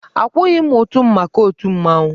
Akwụghị m ụtụ m maka otù mmanwụ.